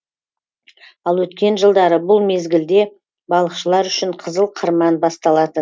ал өткен жылдары бұл мезгілде балықшылар үшін қызыл қырман басталатын